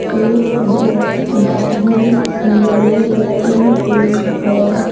एक बाइक बाहर की ओर लगी हुई है।